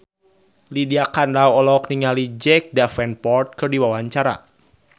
Lydia Kandou olohok ningali Jack Davenport keur diwawancara